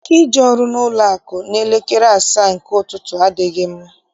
Ike ije ọrụ n'ụlọakụ n'elekere asaa nke ụtụtụ, adịghị m.